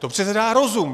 To přece dá rozum!